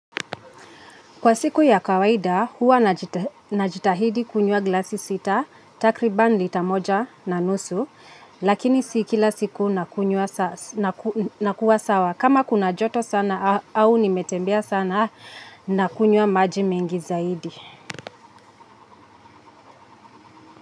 Kwa siku ya kawaida, huwa najitahidi kunywa glasi sita, takriban lita moja na nusu, lakini si kila siku nakuwa sawa. Kama kuna joto sana au nimetembea sana na kunywa maji mengi zaidi.